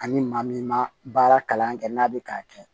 Ani maa min ma baara kalan kɛ n'a bɛ k'a kɛ